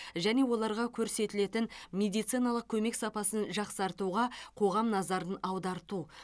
және оларға көрсетілетін медициналық көмек сапасын жақсартуға қоғам назарын аударту